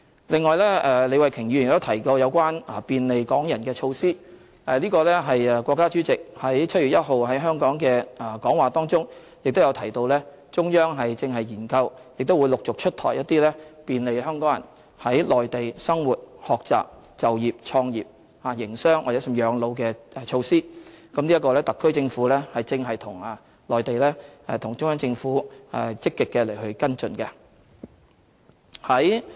李慧琼議員亦提及有關便利港人的措施，國家主席於7月1日在香港的致辭當中亦提到中央正研究和陸續出台一些便利港人在內地生活、學習、就業、創業、營商，甚至養老的措施，特區政府正與中央政府積極跟進。